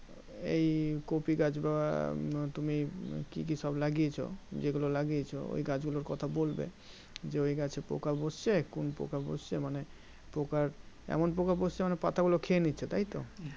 এই কফি গাছ বা তুমি কি কি সব লাগিয়েছো যেগুলো লাগিয়েছো ওই গাছ গুলোর কথা বলবে যে ওই গাছে পোকা বসছে কোন পোকা বসছে মানে পোকার এমন পোকা বসছে মানে পাতা গুলো খেয়ে নিচ্ছে তাইতো